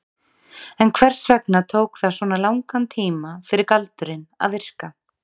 En hvers vegna tók það svona langan tíma fyrir galdurinn að virka?